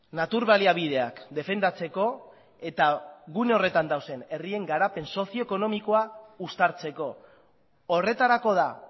natur baliabideak defendatzeko eta gune horretan dauden herrien garapen sozio ekonomikoa uztartzeko horretarako da